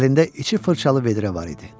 Əlində içi fırçalı vedrə var idi.